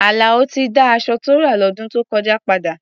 Àlàó ti dá aṣọ tó rà lọ́dún tó kọjá padà.